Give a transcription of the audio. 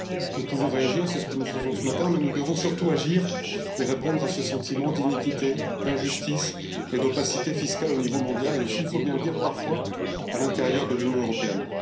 Nous pouvons réagir, c'est ce que nous faisons ce matin, mais nous devons surtout agir et répondre à ce sentiment d'iniquité, d'injustice et d'opacité fiscale au niveau mondial et aussi, il faut bien le dire, parfois à l'intérieur de l'Union européenne.